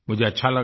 मुझे अच्छा लगा